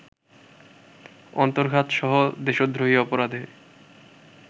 অন্তর্ঘাতসহ নানা দেশদ্রোহী অপরাধে